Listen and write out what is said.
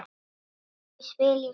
Hvort ég spili í sumar?